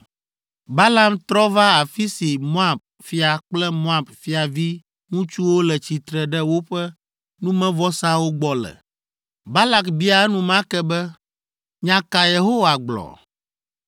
Balaam trɔ va afi si Moab fia kple Moab fiaviŋutsuwo le tsitre ɖe woƒe numevɔsawo gbɔ le. Balak bia enumake be, “Nya ka Yehowa gblɔ?”